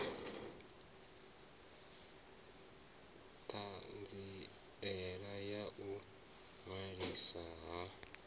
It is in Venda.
ṱhanziela ya u ṅwaliswa ha